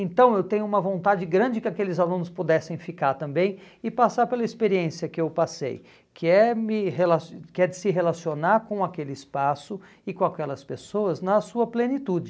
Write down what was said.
Então eu tenho uma vontade grande que aqueles alunos pudessem ficar também e passar pela experiência que eu passei, que é me rela que é de se relacionar com aquele espaço e com aquelas pessoas na sua plenitude.